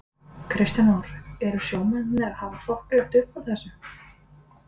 Kristján Már: Eru sjómennirnir að hafa þokkalegt uppúr þessu?